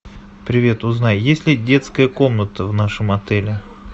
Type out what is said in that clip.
привет узнай есть ли детская комната в нашем отеле